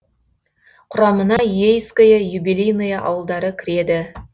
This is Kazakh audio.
құрамына ейское юбилейное ауылдары кіреді